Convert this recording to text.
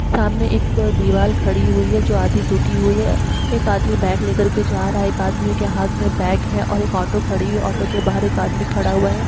सामने एक दीवाल खड़ी हुई है जो आधी टूटी हुई है। एक आदमी बैग लेकर के जा रहा है एक आदमी के हाथ में बैग है और एक ऑटो खड़ी है और ऑटो के बाहर एक आदमी खड़ा हुआ है।